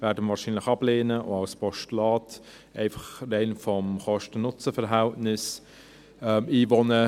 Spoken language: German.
Wir werden ihn wahrscheinlich ablehnen – oder als Postulat, einfach rein vom Kosten-NutzenVerhältnis her.